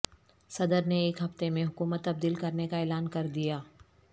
صدر نے ایک ہفتے میں حکومت تبدیل کرنے کا اعلان کر دیا